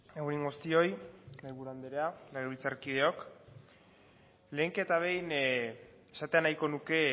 egun on guztioi mahaiburu andrea legebiltzarkideok lehenik eta behin esatea nahiko nuke